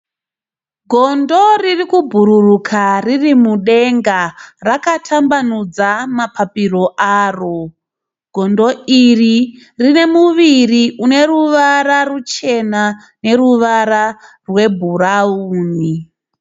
Gondo riri kubhururuka riri mudenga, rakatambanudza mapapairo aro. Gondo iri rine ruvara ruchena neruvara rwebhurauni.